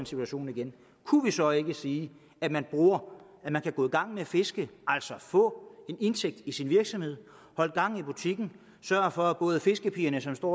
situation igen kunne vi så ikke sige at man kan gå i gang med at fiske altså få en indtægt til sin virksomhed holde gang i butikken sørge for at både fiskepigerne som står